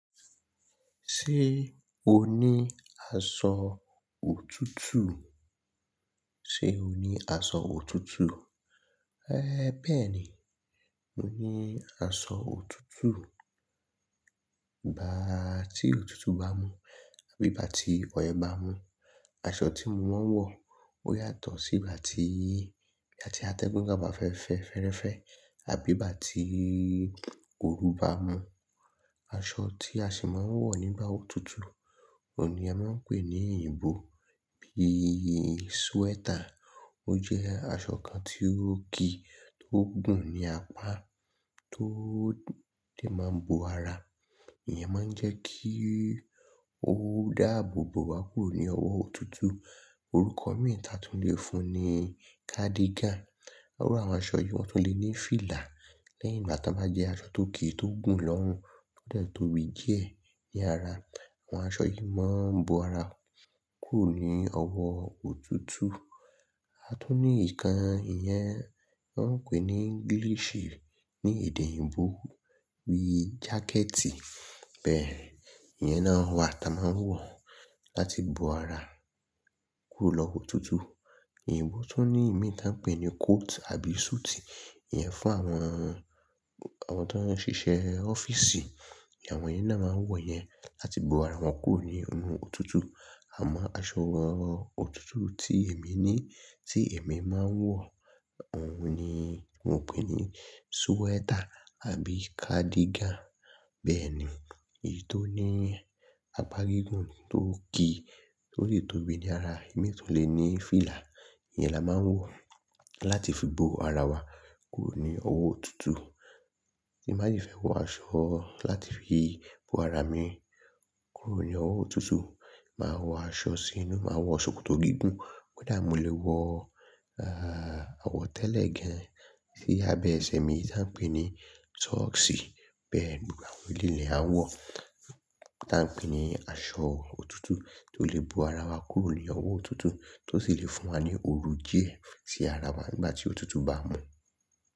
Ṣé o ní aṣọ òtútù? Ṣé o ní aṣọ òtútù? É bẹ̀ení, mo ní aṣọ òtútù. Igba tí òtútù bá mu àbí igba ti ọyẹ́ bá mu, aṣọ tí mo máa ń wọ ó yàtọ̀ sí ìgbà tí, ìgbà tí atẹ́gùn ga ba fẹ́ fẹ́ fẹ́rẹ́fẹ́ àbí ìgbà tí òru bá mu. Aṣọ tí a sì máa ń wọ̀ nígbà òtútù, òní a máa ń pè ní ìyìnbo bí i sweater ó jẹ́ aṣọ kan tí ó ki tó gùn ní apá tó de máa ń bo ara. Ìyẹn máa ń jẹ́ kí ó dáàbò bo wa kúrò ní ọwọ́ òtútù. Orúkọ mìí tí a tún lè fún un ni cardigan. A rí àwọn aṣọ yìí wọn tún lè ní fílà lẹ́yìn ìgbà tí wọ́n bá jẹ́ aṣọ tó ki tó gùn lọ́rùn tó lè tóbi díẹ̀ ní ara. Àwọn aṣọ yìí máa ń bo ara kúrò ní ọwọ́ òtútù. A tún ní nǹkan ìyẹn wọn ń pè ní English ní èdè òyìnbó bí i jákẹ́ẹ́tì. Bẹ́ẹ̀ ni, ìyẹn náà wa tí a máa ń wọ̀ láti bo ara kúrò lọ́wọ́ òtútù. Ìyìnbo tó ní ìmi táa ń pè ní coat àbí suit. Ìyẹn fún àwọn, àwọn tó ń ṣiṣẹ́ ọ́fíìsì. Ìyẹn àwọn yẹn náà máa ń wọ̀ yẹn láti bo ara wọn kúrò ní ọ̀nà òtútù. Àmọ́ aṣọ òtútù tí èmi ní, tí èmi máa ń wọ̀ òun ni wọ́n pè ní sweater àbí cardigan. Bẹ́ẹ̀ ni, èyí tó ní apá gígùn tó ki tó lè tóbi ní ara, ìmi tó lè ní fílà, ìyẹn la máa ń wọ̀ láti fi bo ara wa kúrò ní ọwọ́ òtútù. Tí màá jì fẹ́ wọ aṣọ láti fi bo ara mi kúrò ní ọwọ́ òtútù, màá wọ aṣọ sí inú, màá wọ ṣòkòtò gígùn bó dàá mi lè wọ, ah, àwọ̀ tẹ́lẹ̀ gan sí abẹ́ ẹsẹ̀ mi tí a ń pè ní socks. Bẹ́ẹ̀ ni, àwọn líle a wọ̀ táa ń pè ní aṣọ òtútù tó lè bo ara wa kúrò ní ọwọ́ òtútù tó sì lè fún wa ní òru díẹ̀ sí ara wa nígbà tí òtútù bá mu.